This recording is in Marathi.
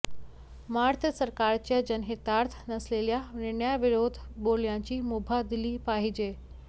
मात्र सरकारच्या जनहितार्थ नसलेल्या निर्णयाविरोधात बोलण्याची मुभा दिली पाहिजे